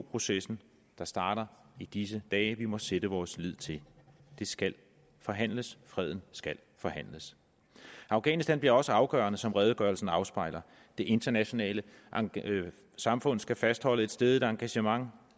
processen der starter i disse dage vi må sætte vores lid til det skal forhandles freden skal forhandles afghanistan bliver også afgørende som redegørelsen afspejler det internationale samfund skal fastholde et stædigt engagement